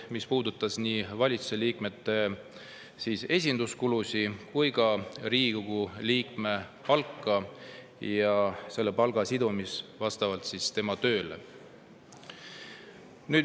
Need puudutasid nii valitsusliikmete esinduskulusid kui ka Riigikogu liikmete palka ja selle palga sidumist Riigikogu töös osalemisega.